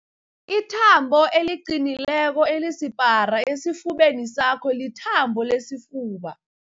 Ithambo eliqinileko elisipara esifubeni sakho lithambo lesifuba.